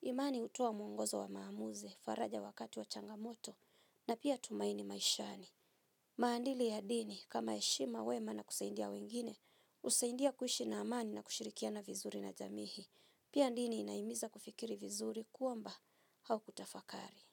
Imani utowa muongozo wa maamuzi, faraja wakati wa changamoto na pia tumaini maishani. Maandili ya dini, kama eshima wema na kuseindia wengine, usaindia kuhishi na amani na kushirikiana vizuri na jamihi. Pia dini inaimiza kufikiri vizuri kuamba haukutafakari.